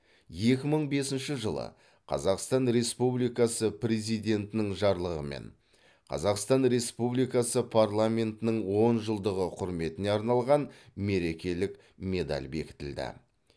екі мың бесінші жылы қазақстан республикасы президентінің жарлығымен қазақстан республикасы парламентінің он жылдығы құрметіне арналған мерекелік медаль бекітілді